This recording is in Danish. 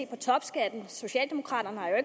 på topskatten socialdemokraterne har jo